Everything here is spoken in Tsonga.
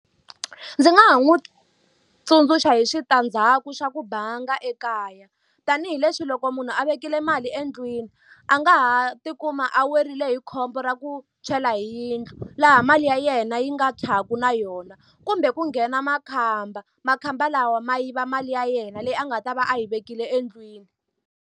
Ndzi nga ha n'wi tsundzuxa hi switandzhaku swa ku banga ekaya. Tanihi leswi loko munhu a vekele mali endlwini, a nga ha tikuma a weriwe hi khombo ra ku tshwela hi yindlu. Laha mali ya yena yi nga tshwaka na yona. Kumbe ku nghena makhamba, makhamba lawa ma yiva mali ya yena leyi a nga ta va a yi vekile endlwini.